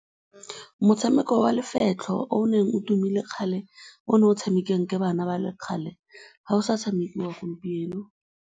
Motshameko wa lefetlho o o neng o tumile kgale, o o neng o tshamekiwa ke bana ba kgale, ga o sa tshamekiwa gompieno.